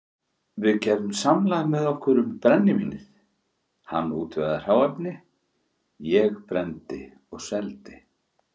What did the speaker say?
Við gerðum samlag með okkur um brennivínið, hann útvegaði hráefni, ég brenndi og seldi.